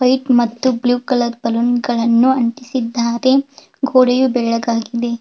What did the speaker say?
White ಮತ್ತು blue colour ಬಲೂನ್ಗಳನ್ನೂ ಅಂಟಿಸಿದ್ದಾರೆ ಗೋಡೆಯು ಬೆಳ್ಳಗಾಗಿದೆ.